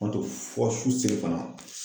fɔ su fana.